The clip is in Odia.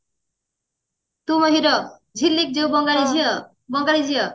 ତୁ ମୋ hero ଝିଲିକ ଯୋଉ ବଙ୍ଗାଳୀ ଝିଅ ବଙ୍ଗାଳୀ ଝିଅ